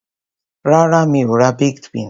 Rárá, mi ò ra baked beans.